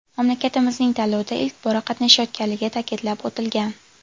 Mamlakatimizning tanlovda ilk bora qatnashayotganligi ta’kidlab o‘tilgan.